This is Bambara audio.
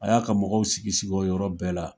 A y'a ka mɔgɔw sigi sigi o yɔrɔ bɛɛ la.